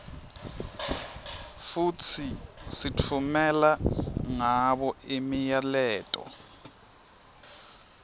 futsi sitfumela ngabo imiyaleto